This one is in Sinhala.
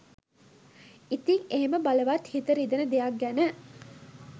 ඉතිං එහෙම බලවත් හිත රිදෙන දෙයක් ගැන